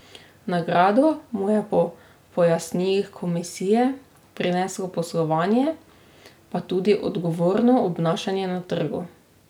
Nagrado mu je po pojasnilih komisije prineslo poslovanje, pa tudi odgovorno obnašanje na trgu.